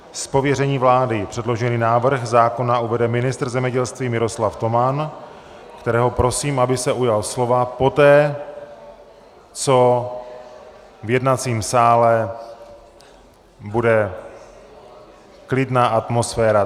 Z pověření vlády předložený návrh zákona uvede ministr zemědělství Miroslav Toman, kterého prosím, aby se ujal slova poté, co v jednacím sále bude klidná atmosféra.